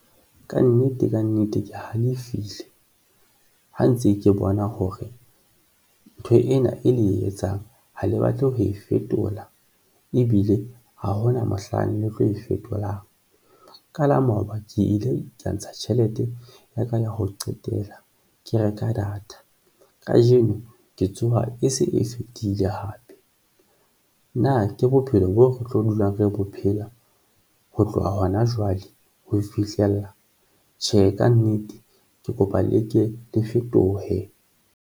Kannete, kannete, ke halefile ha ntse ke bona hore ntho ena e le e etsang ha le batle ho e fetola, ebile ha hona mohlang le tlo e fetolang ka la maoba ke ile ka ntsha tjhelete ya ka ya ho qetela ke reka data kajeno, ke tsoha e se e fetile hape. Na ke bophelo boo re tlo dulang re bo phela ho tloha hona jwale ho fihlella tjhe kannete, ke kopa le ke le fetohe.